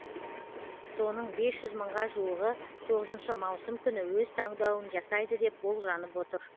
соның бес жүз мыңға жуығы тоғызыншы маусым күні өз таңдауын жасайды деп болжанып отыр